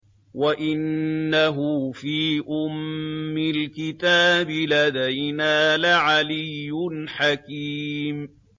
وَإِنَّهُ فِي أُمِّ الْكِتَابِ لَدَيْنَا لَعَلِيٌّ حَكِيمٌ